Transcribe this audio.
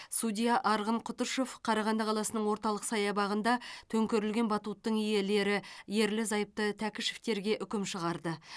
судья арғын құтышев қарағанды қаласының орталық саябағында төңкерілген батуттың иелері ерлі зайыпты тәкішевтерге үкім шығарды